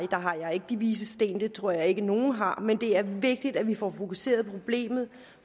ikke de vises sten det tror jeg ikke nogen har men det er vigtigt at vi får fokuseret på problemet